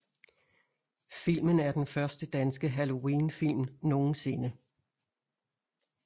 Filmen er den første danske halloween film nogensinde